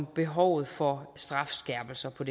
behovet for strafskærpelse på